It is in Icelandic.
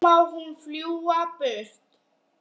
Þá má hún fljúga burtu.